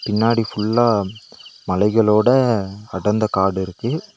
பின்னாடி ஃபுல்லா மலைகளோட அடந்த காடு இருக்கு.